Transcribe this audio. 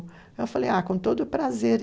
Eu falei, ah, com todo prazer.